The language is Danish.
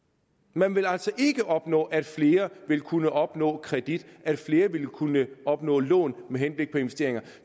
man vil altså ikke opnå at flere vil kunne opnå kredit at flere ville kunne opnå lån med henblik på investeringer